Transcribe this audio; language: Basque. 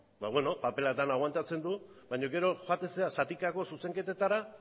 ba beno paperak dena agoantatzen du baina gero joaten zara zatikako zuzenketetara